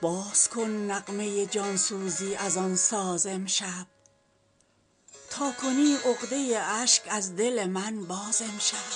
باز کن نغمه جانسوزی از آن ساز امشب تا کنی عقده اشک از دل من باز امشب